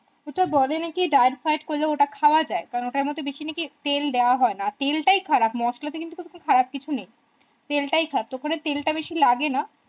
ওটা বোরে নাকি date ফাইট করলে ওটা খাওয়া যায় কারণ ওটার মধ্যে বেশি নাকি তেল দেওয়া হয় না তেল টাই খারাপ মশলা তে কিন্তু খারাপ কিছু নেই তেল টাই খারাপ তখনি তেল টা বেশি লাগে না